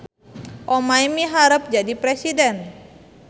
Omay miharep jadi presiden